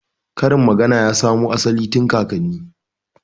Karin magana ya samo asali tun kakanni